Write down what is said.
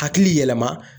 Hakili yɛlɛma